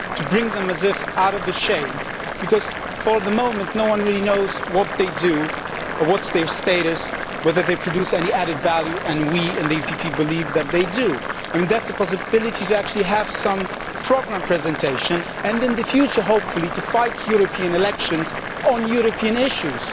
To bring them out of the shade, because at the moment no one really knows what they do, what is their status, whether they produce any added value and we in the EPP believe that they do. That is the possibility, to actually have some programme presentation and in the future hopefully to fight European elections on European issues